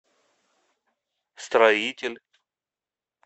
строитель